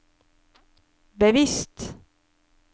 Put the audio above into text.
bevisst